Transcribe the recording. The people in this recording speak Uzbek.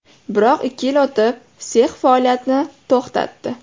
Biroq ikki yil o‘tib, sex faoliyatini to‘xtatdi.